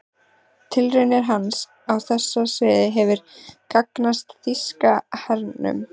Tilraunir hans á þessu sviði hefðu gagnast þýska hernum.